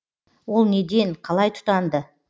ол неден қалай тұтанды